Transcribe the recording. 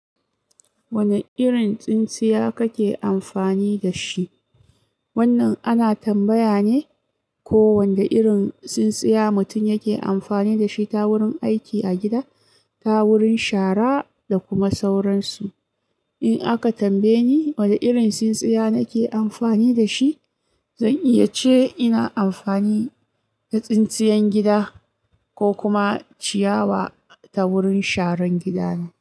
Wane irin tsintsiya kake amfani da shi? Wannan ana tambaya ne ko wanda irin tsintsiya mutum yake amfani da shi ta wurin aiki a gida, ta wurin shara da kuma sauransu. In aka tambaye ni wane irin tsintsiya nake amfani da shi, zan iya ce ina amfani da tsintsiyan gida ko kuma ciyawa ta wurin sharan gida ne.